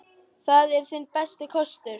Það er þinn besti kostur.